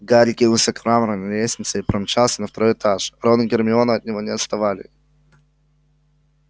гарри кинулся к мраморной лестнице и помчался на второй этаж рон и гермиона от него не отставали